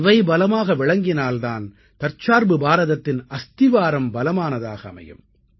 இவை பலமாக விளங்கினால் தான் தற்சார்பு பாரதத்தின் அஸ்திவாரம் பலமானதாக அமையும்